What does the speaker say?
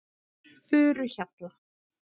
Furuhjalla